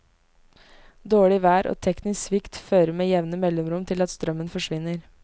Dårlig vær og teknisk svikt fører med jevne mellomrom til at strømmen forsvinner.